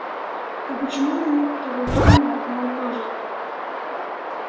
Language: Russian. а почему у некоторых имя одно и то же